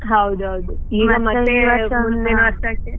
ಹೌದ್ ಹೌದ್.